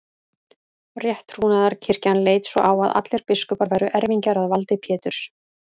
Rétttrúnaðarkirkjan leit svo á að allir biskupar væru erfingjar að valdi Péturs.